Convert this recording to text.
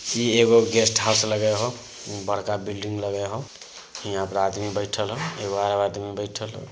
ई एगो guest house लगे होय। बड़का बिल्डिंग लगे होय। हीया पर आदमी बैठल होय। एक ओर आदमी बैठल होय।